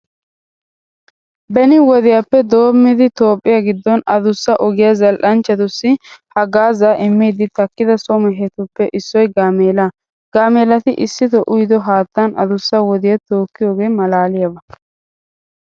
Beni wodiyappe doommidi toophphiya giddon adussa ogiya zal"anchchatussi haggaazaa immiiddi takkido so mehetuppe issoy gaameelaa. Gaameelati issitoo uyido haattan adussa wodiya tokkiyogee maalaaliyaba.